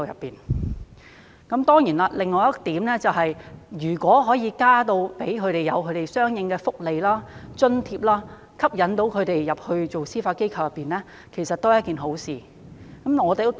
另一方面，如果可以增加相應的福利和津貼，吸引他們加入司法機構，其實亦是一件好事。